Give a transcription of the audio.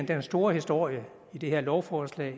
den store historie i det her lovforslag